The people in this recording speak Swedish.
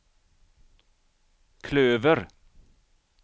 klöver